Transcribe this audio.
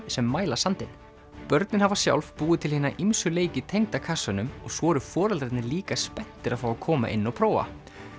sem mæla sandinn börnin hafa sjálf búið til hina ýmsu leiki tengda kassanum og svo eru foreldrarnir líka spenntir að fá að koma inn og prófa